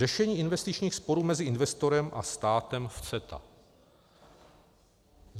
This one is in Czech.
Řešení investičních sporů mezi investorem a státem v CETA.